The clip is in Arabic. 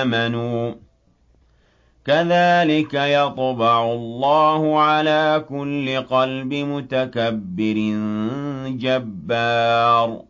آمَنُوا ۚ كَذَٰلِكَ يَطْبَعُ اللَّهُ عَلَىٰ كُلِّ قَلْبِ مُتَكَبِّرٍ جَبَّارٍ